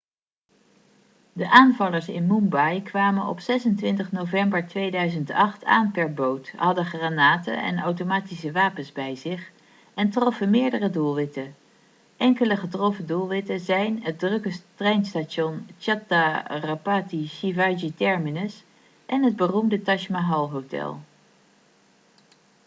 de aanvallers in mumbai kwamen op 26 november 2008 aan per boot hadden granaten en automatische wapens bij zich en troffen meerdere doelwitten enkele getroffen doelwitten zijn het drukke treinstation chhatrapati shivaji terminus en het beroemde taj mahal hotel